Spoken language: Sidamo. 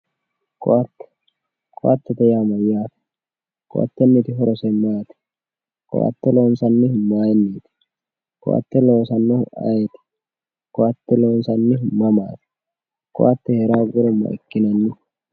ko"ate ko"atete yaa mayaate ko"atenniti horose maati ko"ate loonsannihu mayiiniiti ko"ate loosannohu ayiiti ko"ate loonsannihu mamaati ko"ate heera hoogguro makinanni